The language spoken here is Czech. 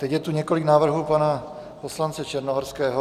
Teď je tu několik návrhů pana poslance Černohorského.